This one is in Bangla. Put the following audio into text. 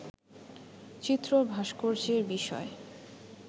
চিত্র-ভাস্কর্যের বিষয়